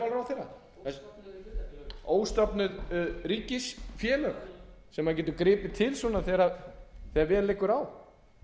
röð hjá fjármálaráðherra óstofnuð hlutafélög óstofnuð ríkisfélög sem maður getur gripið til þegar vel liggur á